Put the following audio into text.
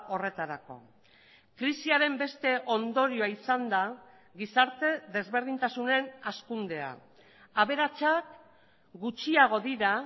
horretarako krisiaren beste ondorioa izan da gizarte desberdintasunen hazkundea aberatsak gutxiago dira